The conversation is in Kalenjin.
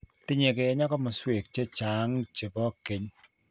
Tinyei kenya komosweek che chang and che bo keny.